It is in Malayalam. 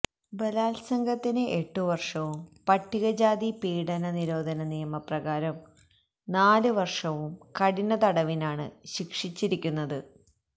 ബലാത്സംഗത്തിന് എട്ടു വർഷവും പട്ടികജാതി പീഡന നിരോധന നിയമപ്രകാരം നാലുവർഷവും കഠിന തടവിനാണ് ശിക്ഷിച്ചിരിക്കുന്നത്